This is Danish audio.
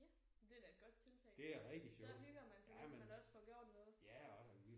Ja det er da et godt tiltag. Så hygger man sig mens man også får gjort noget